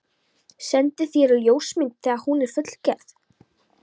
Sendi þér ljósmynd þegar hún er fullgerð.